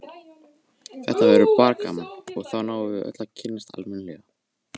Ásbjörg, hvað er opið lengi á föstudaginn?